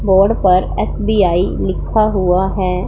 Board पर SBI लिखा हुआ है।